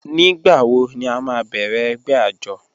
Nígbàwọ̀ ní à má bẹ̀rẹ̀ ẹgbẹ̀ àjọ̀?